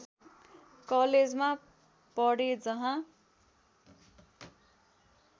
कलेजमा पढे जहाँ